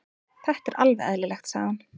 Þetta er alveg eðlilegt, sagði hann.